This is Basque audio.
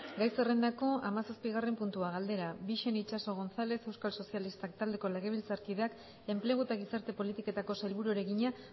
gai zerrendako hamazazpigarren puntua galdera bixen itxaso gonzález euskal sozialistak taldeko legebiltzarkideak enplegu eta gizarte politiketako sailburuari egina